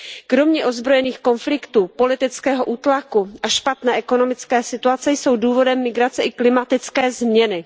Kromě ozbrojených konfliktů, politického útlaku a špatné ekonomické situace jsou důvodem migrace i klimatické změny.